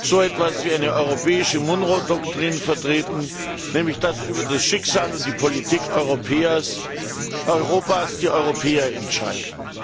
so etwas wie eine europäische Monroe Doktrin vertreten, nämlich dass über das Schicksal und die Politik Europas die Europäer entscheiden.